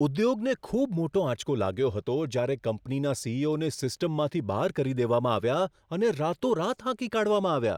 ઉદ્યોગને ખૂબ મોટો આંચકો લાગ્યો હતો જ્યારે કંપનીના સી.ઈ.ઓ.ને સિસ્ટમમાંથી બહાર કરી દેવામાં આવ્યા, અને રાતોરાત હાંકી કાઢવામાં આવ્યા.